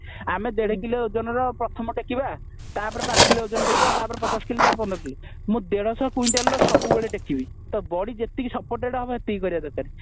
ଆମେ ଦେଢ କିଲୋ ଅଜନର ପ୍ରଥମେ ଟେକିବା ତା ପରେ ପାଞ୍ଚ କିଲୋ ଅଜନ ଟେକିବା ତାପରେ ତାପରେ ପଚାଶ କିଲୋ ତାପରେ ପନ୍ଦର କିଲୋ ମୁ ଦେଢ ଶହ କୁଏଣ୍ଟାଲ ର ସବୁବେଳେ ଟେକିବି ତ body ଯେତିକି supported ହେବ ସେତିକି କରିବା ଦରକାର